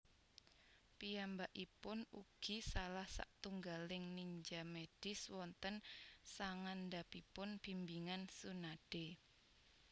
Piyambakipun ugi salah satunggaling ninja medis wonten sangandhapipun bimbingan Tsunade